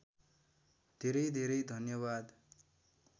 धेरै धेरै धन्यवाद